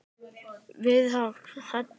Það virkaði Haddý.